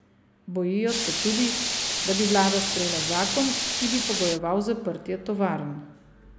Bojijo se tudi, da bi vlada sprejela zakon, ki bi pogojeval zaprtje tovarn.